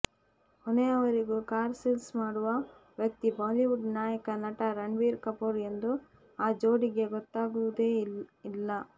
ಕೊನೆಯವರೆಗೂ car sales ಮಾಡುವ ವ್ಯಕ್ತಿ ಬಾಲಿವುಡ್ ನಾಯಕ ನಟ ರಣ್ಬೀರ್ ಕಪೂರ್ ಎಂದು ಆ ಜೋಡಿಗೆ ಗೊತ್ತಾಗುವುದೇ ಇಲ್ಲ